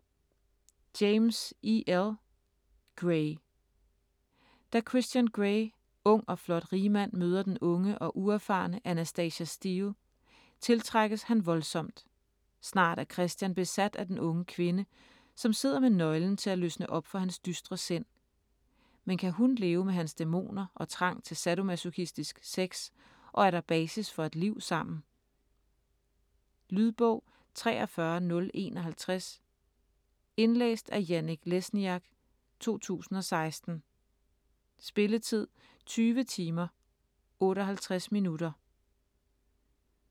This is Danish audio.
James, E. L.: Grey Da Christian Grey, ung og flot rigmand, møder den unge og uerfarne Anastasia Steele, tiltrækkes han voldsomt. Snart er Christian besat af den unge kvinde, som sidder med nøglen til at løsne op for hans dystre sind. Men kan hun leve med hans dæmoner og trang til sadomasochistisk sex og er der basis for et liv sammen? Lydbog 43051 Indlæst af Janek Lesniak, 2016. Spilletid: 20 timer, 58 minutter.